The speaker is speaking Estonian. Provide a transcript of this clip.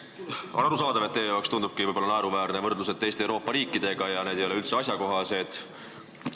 Eks ole arusaadav, et teile võib-olla tunduvadki naeruväärsed võrdlused teiste Euroopa riikidega – need ei ole nagu üldse asjakohased.